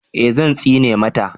eh Zan tsine mata